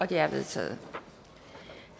det er vedtaget